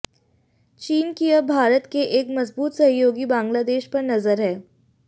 चीन की अब भारत के एक मजबूत सहयोगी बांग्लादेश पर नजर है